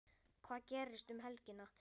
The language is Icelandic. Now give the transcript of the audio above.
Hvað gerist um helgina?